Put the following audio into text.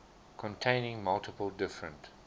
containing multiple different